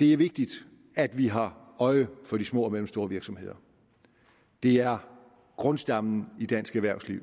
det er vigtigt at vi har øje for de små og mellemstore virksomheder de er grundstammen i dansk erhvervsliv